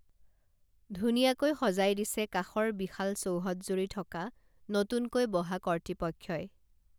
ধুনীয়াকৈ সজাই দিছে কাষৰ বিশাল চৌহদজুৰি থকা নতুনকৈ বহা কৰ্তৃপক্ষই